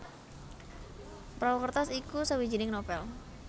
Perahu Kertas iku sawijining novèl